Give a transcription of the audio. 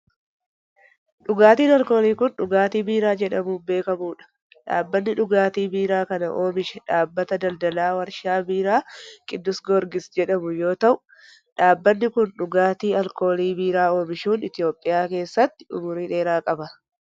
Dhugaatiin alkoolii kun, dhugaatii biiraa jedhamuun beekamuu dha. Dhaabbanni dhugaatii biiraa kana oomishe dhaabbata daldalaa warshaa biiraa Kiddus Giyoorgis jedhamu yoo ta'u, dhaabbanni kun dhugaatii alkoolii biiraa oomishuun Itoophiyaa keessatti umurii dheeraa qaba.